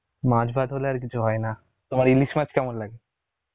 মাছ ভাত হলে আর কিছু হয় না তোমার ইলিশ মাছ কেমন লাগে?